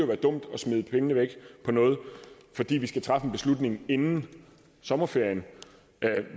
være dumt at smide pengene væk på noget fordi vi skal træffe en beslutning inden sommerferien